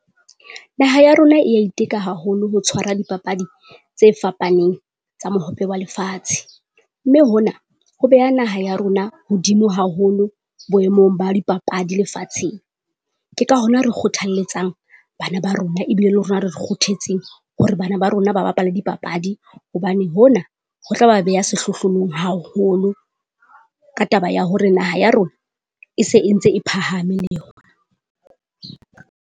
Naha ya rona e ya iteka haholo ho tshwara dipapadi tse fapaneng tsa mohope wa lefatshe, mme hona ho beha naha ya rona hodimo haholo boemong ba dipapadi lefatsheng. Ke ka hona re kgothalletsang bana ba rona ebile le rona re kguthetse hore bana ba rona ba bapale dipapadi. Hobane hona ho tla ba beha sehlohlolong haholo ka taba ya hore naha ya rona e se e ntse e phahame le yona.